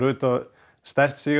stært sig